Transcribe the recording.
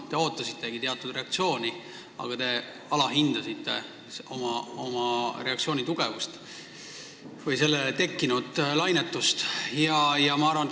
Te ootasitegi teatud reaktsiooni, aga te alahindasite reaktsiooni tugevust või sellest tekkinud lainetust.